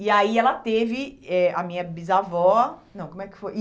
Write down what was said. E aí, ela teve eh a minha bisavó, não, como é que foi?